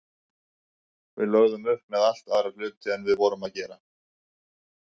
Við lögðum upp með allt aðra hluti en við vorum að gera.